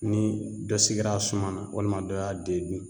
Ni dɔ sigira a suma na walima dɔ y'a den dun